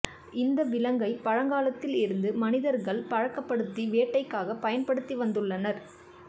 இந்த விலங்கை பழங்காலத்தில் இருந்து மனிதர்கள் பழக்கப்படுத்தி வேட்டைக்காக பயன்படுத்தி வந்துள்ளனர்